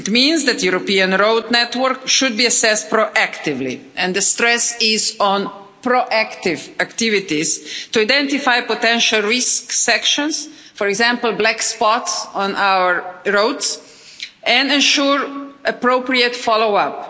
It means that the European road network should be assessed proactively and the stress is on proactive activities to identify potential risk sections, for example, black spots on our roads, and ensure appropriate follow up.